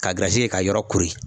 Ka kɛ ka yɔrɔ kori.